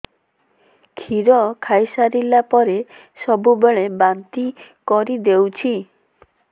କ୍ଷୀର ଖାଇସାରିଲା ପରେ ସବୁବେଳେ ବାନ୍ତି କରିଦେଉଛି